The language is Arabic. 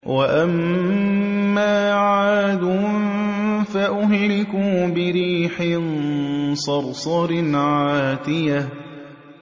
وَأَمَّا عَادٌ فَأُهْلِكُوا بِرِيحٍ صَرْصَرٍ عَاتِيَةٍ